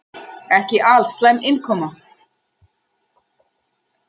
Ekki alslæm innkoma.